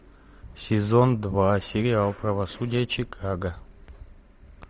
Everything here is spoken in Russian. сезон два сериал правосудие чикаго